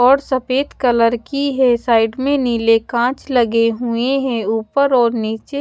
और सफेद कलर की हैं साइड में नीले कांच लगे हुए है ऊपर और नीचे--